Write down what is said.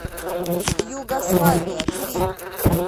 югославия гриль